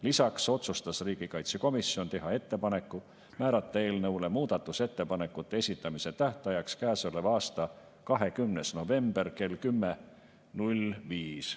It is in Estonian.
Lisaks otsustas riigikaitsekomisjon teha ettepaneku määrata eelnõu muudatusettepanekute esitamise tähtajaks käesoleva aasta 20. november kell 10.05.